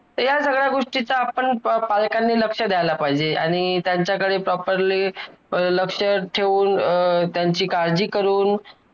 तर या सगळ्या गोष्टींचा आपण पालकांनी लक्ष द्यायला पाहिजे आणि त्यांच्या कडे प properly लक्ष ठेऊन अं त्यांची काळजी करून